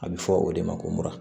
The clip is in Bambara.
A bɛ fɔ o de ma ko mura